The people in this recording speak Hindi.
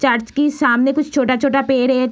चर्च की सामने कुछ छोटा-छोटा पेड़ है।